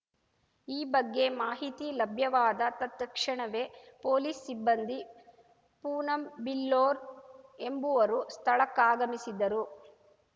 ಈ ಬಗ್ಗೆ ಮಾಹಿತಿ ಲಭ್ಯವಾದ ತತ್‌ಕ್ಷಣವೇ ಪೊಲೀಸ್‌ ಸಿಬ್ಬಂದಿ ಪೂನಂ ಬಿಲ್ಲೋರ್‌ ಎಂಬುವರು ಸ್ಥಳಕ್ಕಾಗಮಿಸಿದರು